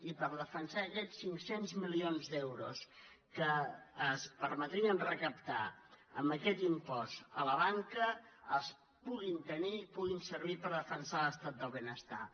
i per defensar que aquests cinc cents milions d’euros que ens permetrien recaptar amb aquest impost a la banca es puguin tenir puguin servir per defensar l’estat del benestar